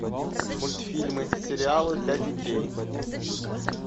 мультфильмы сериалы для детей